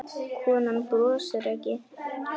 Konan brosir ekki.